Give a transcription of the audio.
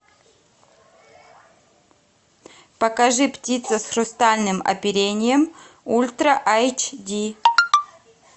покажи птица с хрустальным оперением ультра айч ди